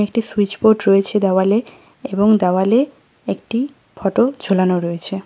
একটি সুইচবোর্ড রয়েছে দেওয়ালে এবং দেওয়ালে একটি ফটো ঝোলানো রয়েছে।